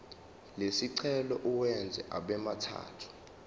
lesicelo uwenze abemathathu